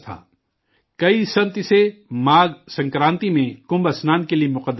کئی سنت اسے ماگھ سنکرانتی میں کمبھ کے اشنان کے لیے مقدس جگہ مانتے ہیں